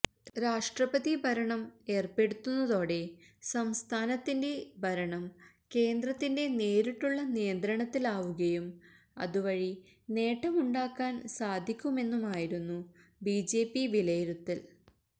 രാഷ്ട്രപതി ഭരണം ഏര്പ്പെടുത്തുന്നതോടെ സംസ്ഥാനത്തിന്റെ ഭരണം കേന്ദ്രത്തിന്റെ നേരിട്ടുള്ള നിയന്ത്രണത്തിലാവുകയും അതു വഴി നേട്ടമുണ്ടാക്കാന് സാധിക്കുമെന്നുമായിരുന്നു ബിജെപി വിലയിരുത്തൽ